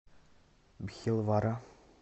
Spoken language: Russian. бхилвара